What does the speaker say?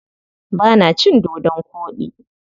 Ba na cin dodon koɗi.